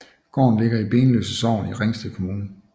Gården ligger i Benløse Sogn i Ringsted Kommune